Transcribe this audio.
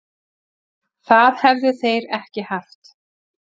Það hefðu þeir ekki haft